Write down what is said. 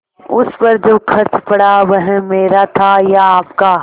उस पर जो खर्च पड़ा वह मेरा था या आपका